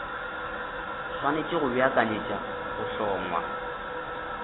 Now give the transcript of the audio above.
swanetše go beakanyetša go hlongwa